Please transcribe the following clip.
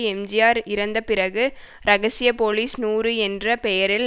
எம்ஜிஆர் இறந்த பிறகு ரகசிய போலீஸ் நூறு என்ற பெயரில்